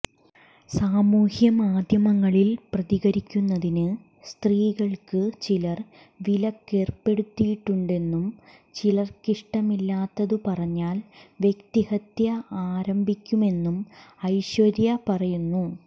സമൂഹമാധ്യമങ്ങളിൽ പ്രതികരിക്കുന്നതിന് സ്ത്രീകൾക്ക് ചിലർ വിലക്കേർപ്പെടുത്തിയിട്ടുണ്ടെന്നും ചിലർക്കിഷ്ടമില്ലാത്തതു പറഞ്ഞാൽ വ്യക്തിഹത്യ ആരംഭിക്കുമെന്നും ഐശ്വര്യ പറയുന്നു